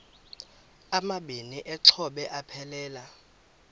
amabini exhobe aphelela